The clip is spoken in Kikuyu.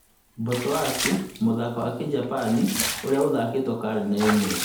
Botoashi mũthako wa kĩjapan ũrĩa ũthakĩtwo karine ĩmwe